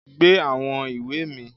Gbé àwọn ìwé mi